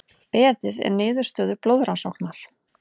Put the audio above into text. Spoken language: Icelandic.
Beðið er niðurstöðu blóðrannsóknar